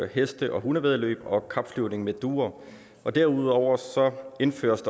heste og hundevæddeløb og kapflyvning med duer derudover indføres